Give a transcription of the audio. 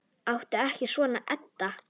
Láttu ekki svona, Edda.